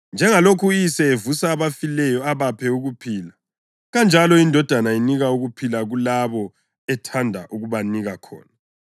Njengalokhu uYise evusa abafileyo abaphe ukuphila, kanjalo iNdodana inika ukuphila kulabo ethanda ukubanika khona.